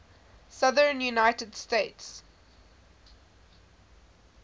southern united states